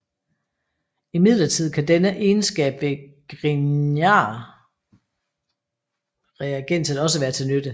Imidlertid kan denne egenskab ved grignardreagenset også være til nytte